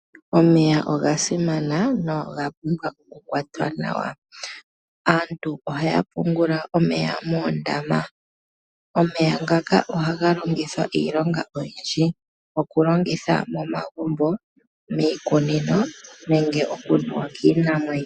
Omeya oga simana noga pumbwa okukwatwa nawa. Aantu ohaya pungula omeya moondama. Omeya ngaka ohaga longithwa iilonga oyindji. Okulongitha momagumbo, miikunino nenge okunuwa kiinamwenyo.